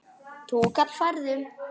Túkall færðu!